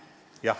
Jah.